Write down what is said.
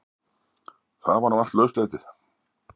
Það var nú allt lauslætið.